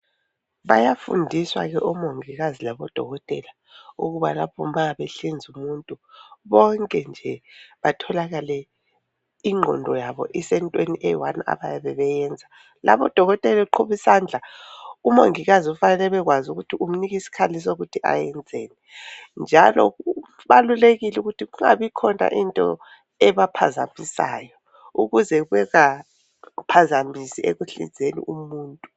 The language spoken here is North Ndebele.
Bayafundiswa ke omongikazi labodokotela ukuba lapho ma behlinza umuntu bonke nje batholakale inqondo yabo isentweni eyi one abayabe beyenza. Lapho udokotela eqhuba isandla, umongikazi ufanele abe kwazi ukuthi umnika isikhali sokuthi ayenzeni njalo kubalulekile ukuthi kungabi khona into ebaphazamisayo ukuze bengaphazamisi ekuhlinzeni umuntu.